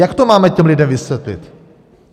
Jak to máme těm lidem vysvětlit?